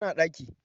tana ɗaki